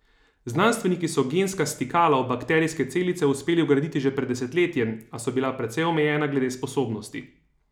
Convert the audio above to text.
Znanstveniki so genska stikala v bakterijske celice uspeli vgraditi že pred desetletjem, a so bila precej omejena glede sposobnosti.